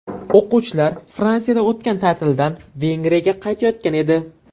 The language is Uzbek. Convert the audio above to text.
O‘quvchilar Fransiyada o‘tgan ta’tildan Vengriyaga qaytayotgan edi.